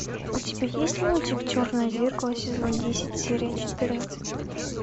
у тебя есть мультик черное зеркало сезон десять серия четырнадцать